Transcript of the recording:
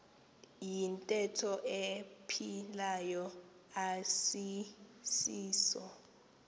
iyintetho ephilayo asisiso